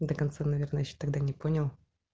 до конца наверное ещё тогда не понял